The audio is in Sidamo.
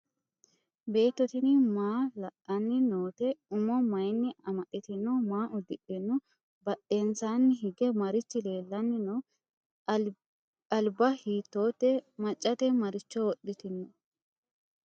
Beetto tinni maa la'anni nootte? Umo mayiinni amaxxittino? Maa udidhinno? Badheennsaanni hige marichi leelanni no? Alibba hiittotte? Maccatte maricho wodhittino?